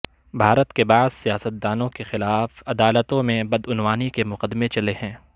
بھارت کے بعض سیاست دانوں کے خلاف عدالتوں میں بدعنوانی کے مقدمے چلے ہیں